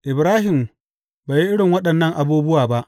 Ibrahim bai yi irin waɗannan abubuwa ba.